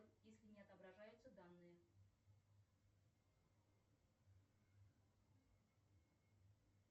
если не отображаются данные